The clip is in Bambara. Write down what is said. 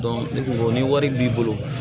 ne kun ko ko ni wari b'i bolo